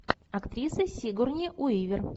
актриса сигурни уивер